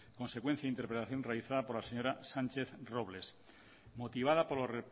consecuencia interpelación realizada por la señora sánchez robles y motivada por los